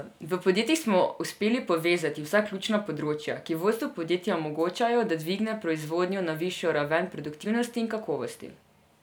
V podjetjih smo uspeli povezati vsa ključna področja, ki vodstvu podjetja omogočajo, da dvigne proizvodnjo na višjo raven produktivnosti in kakovosti.